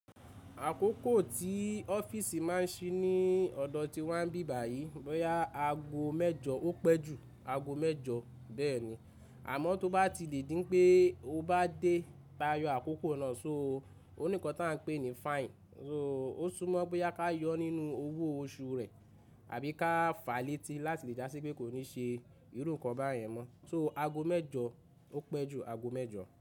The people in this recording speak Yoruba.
Àkókò tí ọ́fíìsì má ń ṣí ní ọ̀dọ̀ tí wa n bí bayìí, bóyá ago mẹ́jọ ó pẹ́ ju ago mẹ́jọ bẹ́ẹ̀ni. Àmọ́ tó bá ti lè dí pé o bá dé tayọ àkókò náà, so oní kan tá ń pè ní fine, so ó súmọ́ bóyá ká yọ nínú owó oṣù rẹ̀ àbí ká fàá létí láti lè dásí pé kò ní ṣe irú nǹkan báyẹn mọ́. So ago mẹ́jọ ó pẹ́ ju ago mẹ́jọ.